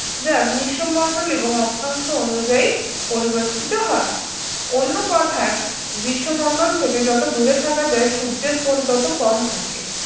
যা গ্রীষ্মমণ্ডলী এবং অক্ষাংশ অনুযায়ী পরিবর্তিত হয় অন্য কথার গ্রীষ্মমন্ডল থেকে যত দূরে থাকা যায় সূর্যের কোন তত কম থাকে